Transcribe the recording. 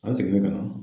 An seginna ka na